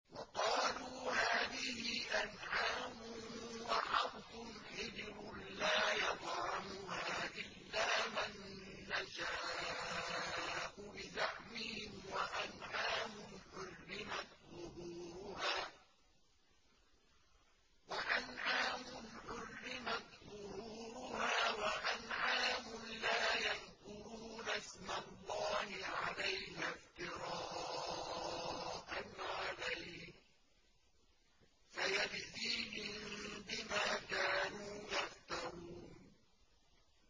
وَقَالُوا هَٰذِهِ أَنْعَامٌ وَحَرْثٌ حِجْرٌ لَّا يَطْعَمُهَا إِلَّا مَن نَّشَاءُ بِزَعْمِهِمْ وَأَنْعَامٌ حُرِّمَتْ ظُهُورُهَا وَأَنْعَامٌ لَّا يَذْكُرُونَ اسْمَ اللَّهِ عَلَيْهَا افْتِرَاءً عَلَيْهِ ۚ سَيَجْزِيهِم بِمَا كَانُوا يَفْتَرُونَ